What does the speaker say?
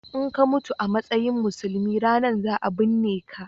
in ka mutu a matsayin musulmi ranan za a binneka